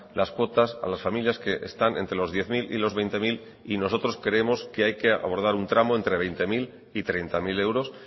las cuotas a las familias que están entre los diez mil y los veinte mil euros y nosotros creemos que hay que abordar un tramo entre veinte mil y treinta mil euros